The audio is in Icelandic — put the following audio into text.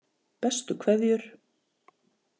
Bestu kveðjur